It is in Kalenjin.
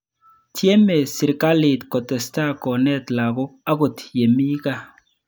Tyeme sirikalit kotestai konet lagok angot yemi kaa.